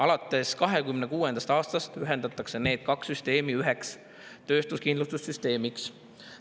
Alates 2026. aastast ühendatakse need kaks süsteemi üheks töötuskindlustussüsteemiks.